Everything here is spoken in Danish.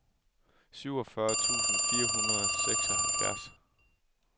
syvogfyrre tusind fire hundrede og seksoghalvfjerds